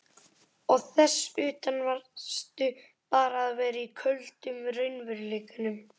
Og þess utan varðstu bara að vera í köldum raunveruleikanum.